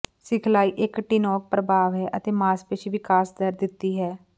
ਸਿਖਲਾਈ ਇੱਕ ਟੌਿਨਕ ਪ੍ਰਭਾਵ ਹੈ ਅਤੇ ਮਾਸਪੇਸ਼ੀ ਵਿਕਾਸ ਦਰ ਦਿੱਤੀ ਹੈ